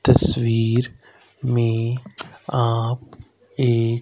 तस्वीर में आप एक--